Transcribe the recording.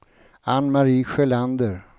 Ann-Mari Sjölander